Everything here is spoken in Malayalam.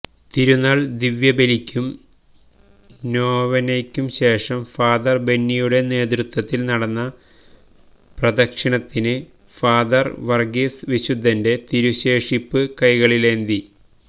തിരുന്നാള് ദിവ്യബലിയ്ക്കും നൊവേനയ്ക്കും ശേഷം ഫാദര് ബെന്നിയുടെ നേതൃത്വത്തില് നടന്ന പ്രദക്ഷിണത്തിന് ഫാദര് വര്ഗീസ് വിശുദ്ധന്റെ തിരുശേഷിപ്പ് കൈകളിലേന്തി